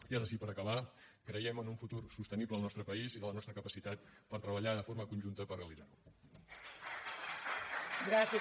i ara sí per acabar creiem en un futur sostenible al nostre país i en la nostra capacitat per treballar de forma conjunta per realitzar ho